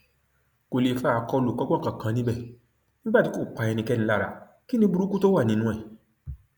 kò lè fa àkọlùkọgbà kankan níbẹ nígbà tí kò pa ẹnikẹni lára kí ni burúkú tó wà nínú ẹ